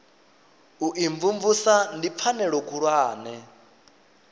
u imvumvusa ndi pfanelo khulwane